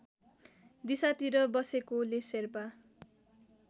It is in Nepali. दिशातिर बसेकोले शेर्पा